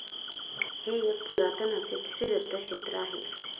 हे एक पुरातन असे श्रीदत्त क्षेत्र आहे.